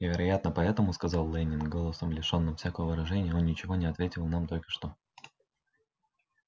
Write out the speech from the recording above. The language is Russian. и вероятно поэтому сказал лэннинг голосом лишённым всякого выражения он ничего не ответил нам только что